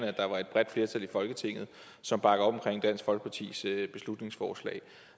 at der var et bredt flertal i folketinget som bakkede op om dansk folkepartis beslutningsforslag